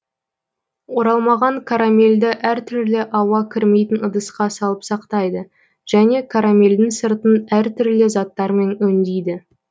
оралмаған карамельді әр түрлі ауа кірмейтін ыдысқа салып сақтайды және карамельдің сыртын әр түрлі заттармен өңдейді